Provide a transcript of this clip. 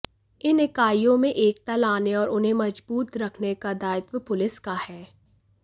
इन इकाईयों में एकता लाने और इन्हें मजबूत रखने का दायित्व पुलिस का है